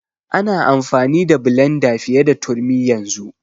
Ana amfani da blenda fiye da turmi yanzu.